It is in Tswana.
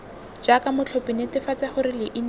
jaaka motlhophi netefatsa gore leina